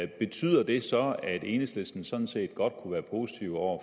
betyder det så at enhedslisten sådan set godt kunne være positive over